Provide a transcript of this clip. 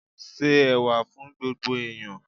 Se Ẹ̀wà fún gbogbo ẹ̀yán.